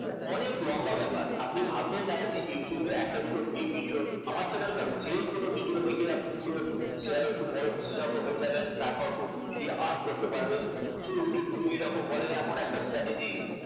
মানে অনেক লম্বা ব্যাপার আপনি ভাববেন না যে yotub এ একটা দুটো free video আমার channel কেন যে কোন video দেখে আপনি পুরো শেয়ারের খুব বড় বিশেষজ্ঞ হয়ে যাবেন তারপর খুব easily earn করতে পারবেন প্রচুর youtube video এরকম বলে এমন একটা strategy